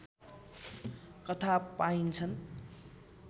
कथा पाइन्छन्